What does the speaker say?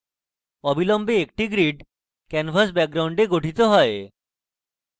অবিলম্বে একটি grid canvas background গঠিত হয়